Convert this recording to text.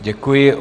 Děkuji.